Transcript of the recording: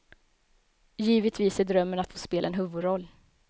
Givetvis är drömmen att få spela en huvudroll.